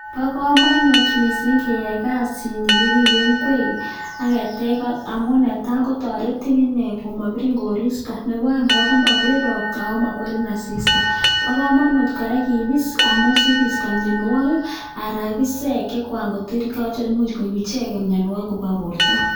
Bokomonut mising keyai kasini kiribe ing'wek ak ketech koot amun netaa kotoretin inee komobirin koristo, neboo oeng kora komobirin robta akomokwerin asista, bokomonut kora kibis amun sikisto mionwokik alaan isek cheimuch koib ichek mionwokik kobwa borto.